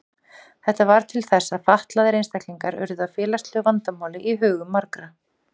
Þetta varð til þess að fatlaðir einstaklingar urðu að félagslegu vandamáli í hugum margra.